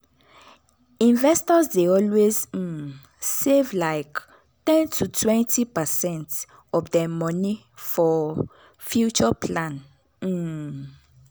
investors dey always um save like ten totwentypercent of dem money for future plan. um